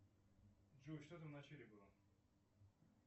джой что там вначале было